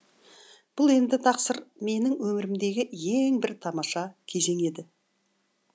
бұл енді тақсыр менің өмірімдегі ең бір тамаша кезең еді